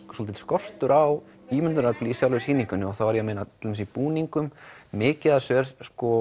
skortur á ímyndunarafsli í sjálfri sýningunni og þá er ég að meina til dæmis í búningum mikið af þessu er